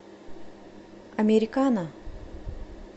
американа